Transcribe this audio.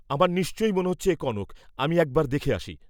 আমার নিশ্চয়ই মনে হচ্চে এ কনক, আমি একবার দেখে আসি।